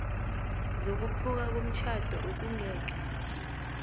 zokuphuka komtjhado okungeke